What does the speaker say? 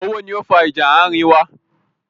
Owó ni ó fa ìjà àárín wa.